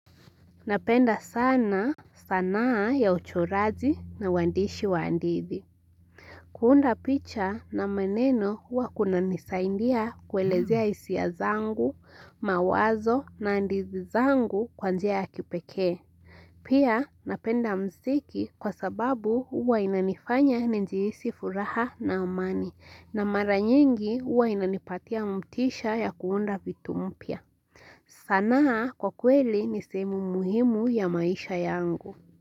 Napenda sana sanaa ya uchoraji na uandishi wa handithi. Kuunda picha na meneno hua kuna nisaindia kuelezea hisia zangu, mawazo na ndizi zangu kwa njia ya kipekee. Pia napenda musiki kwa sababu hua unanifanya ninjiihisi furaha na amani na mara nyingi hua inanipatia mtisha ya kuunda vitu mpya. Sanaa kwa kweli nisehemu muhimu ya maisha yangu.